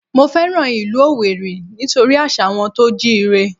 Mo fẹ́ràn ìlú Owerri nítorí àṣà wọn tó jíire